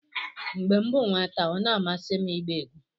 mgbe m bụ nwata ọ na-amasị m ịgba egwu